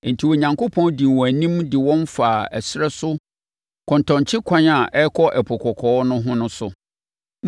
Enti, Onyankopɔn dii wɔn anim de wɔn faa ɛserɛ so kɔntɔnkyekwan a ɛrekɔ Ɛpo Kɔkɔɔ no ho no so.